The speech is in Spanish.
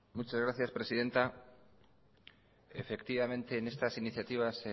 muchas gracias presidenta efectivamente en estas iniciativas